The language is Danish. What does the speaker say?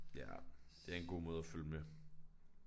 Ja. Det er en god måde at følge med